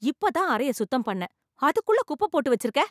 இப்பதான் அறைய சுத்தம் பண்ணேன் அதுக்குள்ள குப்ப போட்டு வச்சிருக்க